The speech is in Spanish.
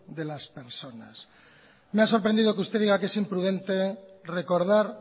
de las personas me ha sorprendido que usted diga que es imprudente recordar